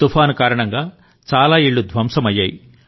తుఫాను కారణంగా చాలా ఇళ్ళు ధ్వంసమయ్యాయి